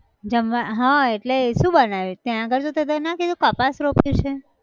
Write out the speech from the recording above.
જમવા હા એટલે શું બનાયું છ ત્યાં આગળ તો તે ના કીધું કપાસ રોપ્યું છે!